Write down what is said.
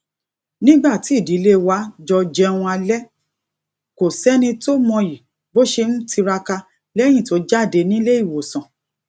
nígbà tí ìdílé wa jọ jẹun alé kò séni tó mọyì bó ṣe ń tiraka léyìn tó jáde nílé ìwòsàn